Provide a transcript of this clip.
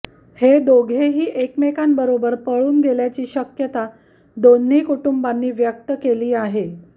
हे दोघेही एकमेकांबरोबर पळून गेल्याची शक्यता दोन्ही कुटुंबांनी व्यक्त केली आहे